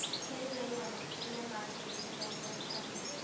Kenya ĩna makĩria ma njũĩ mĩrongo ĩtano.